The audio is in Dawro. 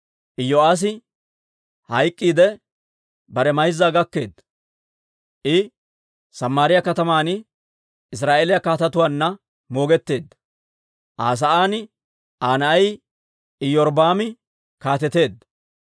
Iyo'aassi hayk'k'iidde, bare mayzzan gaketeedda; I Samaariyaa kataman Israa'eeliyaa kaatetuwaanna moogetteedda. Aa sa'aan Aa na'ay Iyorbbaami kaateteedda.